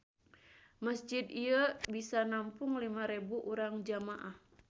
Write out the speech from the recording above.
Masjid ieu bisa nampung lima rebu urang jamaah.